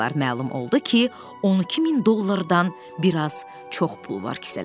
Məlum oldu ki, 12000 dollardan bir az çox pul var kisələrdə.